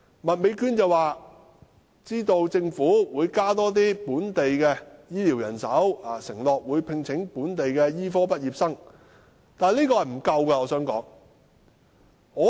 麥美娟議員說政府會增加本地的醫療人手，承諾會聘請本地的醫科畢業生，但我想說，這是不足夠的。